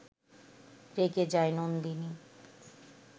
রেগে যায় নন্দিনী